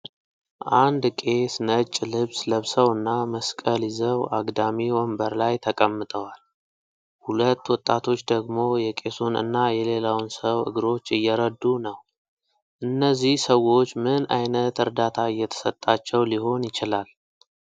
አንድ ቄስ ነጭ ልብስ ለብሰውና መስቀል ይዘው አግዳሚ ወንበር ላይ ተቀምጠዋል። ሁለት ወጣቶች ደግሞ የቄሱን እና የሌላውን ሰው እግሮች እየረዱ ነው። እነዚህ ሰዎች ምን ዓይነት እርዳታ እየተሰጣቸው ሊሆን ይችላል?